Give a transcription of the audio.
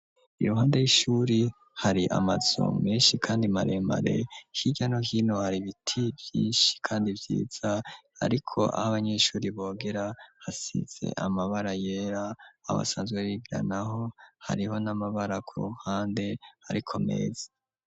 Iruhande y'ishure hari amazu menshi kandi maremare, hirya no hino ari ibiti vyinshi kandi vyiza, ariko aho abanyeshure bogera hasize amabara yera, aho basanzwe bigira naho, hariho n'amabara ku ruhande ariko meza.